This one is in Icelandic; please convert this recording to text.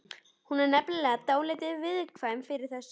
Hún var nefnilega dálítið viðkvæm fyrir þessu.